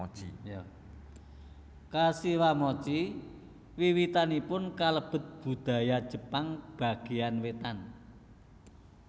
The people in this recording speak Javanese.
Kashiwamochi wiwitanipun kalebet budaya Jepang bagéyan wétan